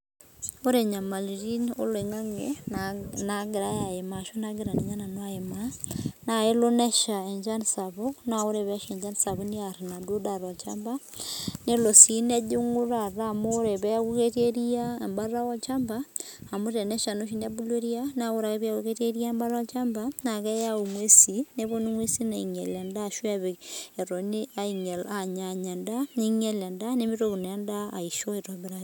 Ore nyamalitin oloingange nagirai ayimaa ashu nagira nanu ayimaa naa kelo nyesha enchan sapuk naa ore pee esha enchan sapuk neer enaduo daa tolchamba nelo nejinguu taata amu ore peeku ketii eria ebata olchamba amu teneshaa naa oshi neeku ketii eria naa ore ake pebulu eria ebata olchamba naa keyawu eng'usi nepuonu endaa ninyial endaa anyanya nimitoki naa endaa aishoo aitobiraki